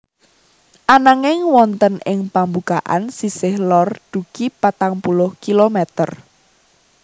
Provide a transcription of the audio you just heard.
Ananging wonten ing pambukaan sisih lor dugi patang puluh kilometer